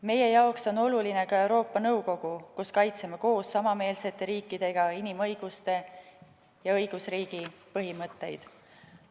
Meie jaoks on oluline ka Euroopa Nõukogu, kus kaitseme koos samameelsete riikidega inimõiguste ja õigusriigi põhimõtteid.